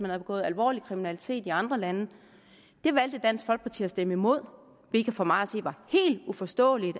havde begået alvorlig kriminalitet i andre lande det valgte dansk folkeparti at stemme imod hvilket for mig at se var helt uforståeligt